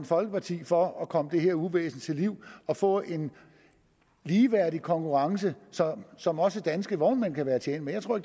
folkeparti for at komme det her uvæsen til livs og få en ligeværdig konkurrence som også danske vognmænd kan være tjent med jeg tror